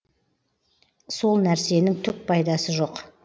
сол нәрсенің түк пайдасы жоқ